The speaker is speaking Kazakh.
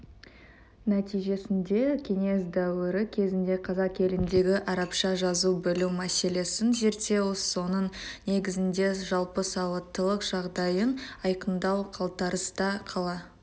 нәтижесінде кеңес дәуірі кезінде қазақ еліндегі арабша жаза білу мәселесін зерттеу соның негізінде жалпы сауаттылық жағдайын айқындау қалтарыста қала